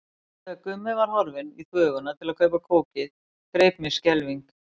Og þegar Gummi var horfinn í þvöguna til að kaupa kókið greip mig skelfing.